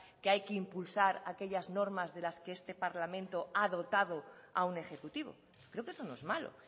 que hay que impulsar aquellas normas de las que este parlamento ha dotado a un ejecutivo creo que eso no es malo